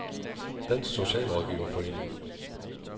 Dansk Socialrådgiverforening